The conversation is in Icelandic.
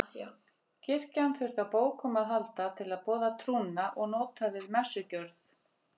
Kirkjan þurfti á bókum að halda til að boða trúna og nota við messugjörð.